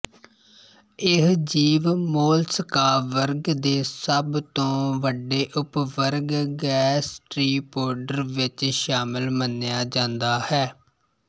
ਇਹ ਜੀਵ ਮੋਲਸਕਾ ਵਰਗ ਦੇ ਸਭ ਤੋਂ ਵੱਡੇ ਉਪਵਰਗ ਗੈਸਟ੍ਰੀਪੋਡਰ ਵਿੱਚ ਸ਼ਾਮਲ ਮੰਨਿਆ ਜਾਂਦਾ ਹੈ